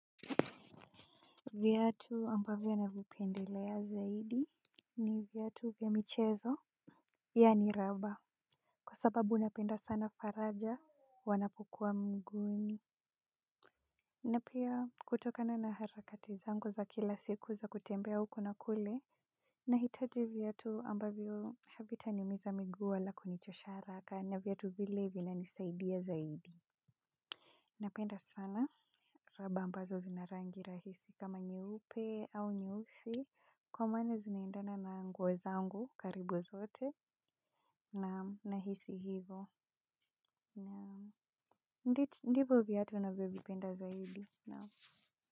Viatu ambavyo navipendelea zaidi ni vuatu vya michezo. Yani raba kwa sababu napenda sana faraja wanapokua miguuni. Na pia kutokana na harakati zangu za kila siku za kutembea huko na kule nahitaji viatu ambavyo havitaniumiza miguu wala kunichosha haraka na viatu vile vinanisaidia zaidi. Napenda sana raba ambazo zina rangi rahisi kama nyeupe au nyeusi kwa maana zinaendana na nguo zangu karibu zote naam nahisi hivo naam ndi ndipo viatu navyovipenda zaidi naam.